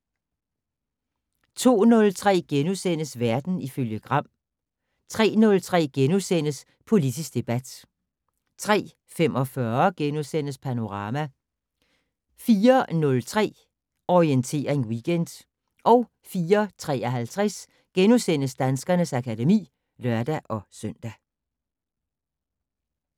02:03: Verden ifølge Gram * 03:03: Politisk debat * 03:45: Panorama * 04:03: Orientering Weekend 04:53: Danskernes akademi *(lør-søn)